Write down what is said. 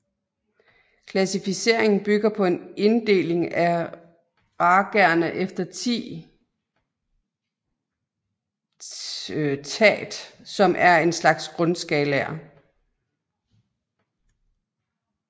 Klassificeringen bygger på en inddeling af ragaerne efter 10 ṭhāt som er en slags grundskalaer